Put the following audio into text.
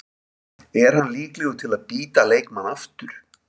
Er hann líklegur til að bíta leikmann aftur?